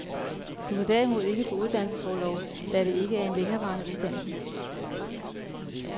Du kan derimod ikke få uddannelsesorlov, da det er en længerevarende uddannelse.